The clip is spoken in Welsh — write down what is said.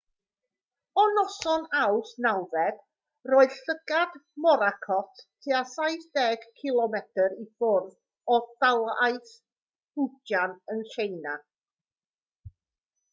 o noson awst 9 roedd llygad morakot tua saith deg cilomedr i ffwrdd o dalaith fujian yn tsieina